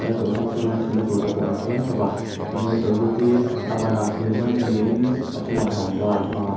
chawlhbuk chhungah hian thutna tur te pawh an siam thlap a tin he chawlhbuk hi a ban a tir hman ni in a chungah rangva an hmang a--